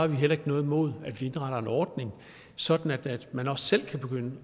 vi heller ikke noget imod at vi indretter en ordning sådan at man også selv kan begynde